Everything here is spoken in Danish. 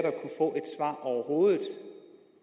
af overhovedet